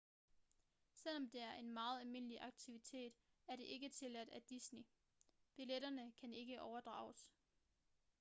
selvom det er en meget almindelig aktivitet er det ikke tilladt af disney billetterne kan ikke overdrages